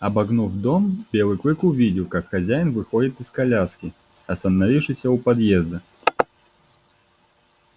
обогнув дом белый клык увидел как хозяин выходит из коляски остановившейся у подъезда